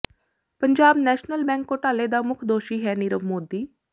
Punjab national bank ਘੋਟਾਲੇ ਦਾ ਮੁੱਖ ਦੋਸ਼ੀ ਹੈ ਨੀਰਵ ਮੋਦੀ